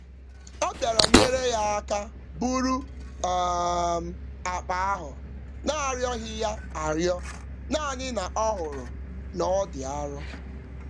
Ọ bịara nyèrè ya áká búrú um akpa ahụ narịọghị yá arịọ, nanị na ọhụrụ n'ọdị arụ